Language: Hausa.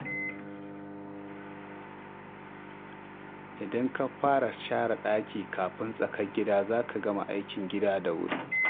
Idan ka fara share ɗaki kafin tsakar gida, za ki gama aikin gida da wuri.